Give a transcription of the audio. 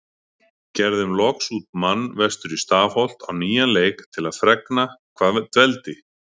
Gerðum loks út mann vestur í Stafholt á nýjan leik til að fregna hvað dveldi